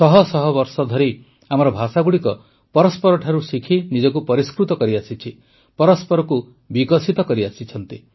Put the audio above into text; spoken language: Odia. ଶହ ଶହ ବର୍ଷଧରି ଆମ ଭାଷାଗୁଡ଼ିକ ପରସ୍ପରଠାରୁ ଶିଖି ନିଜକୁ ପରିଷ୍କୃତ କରିଆସିଛି ପରସ୍ପରକୁ ବିକଶିତ କରିଆସିଛି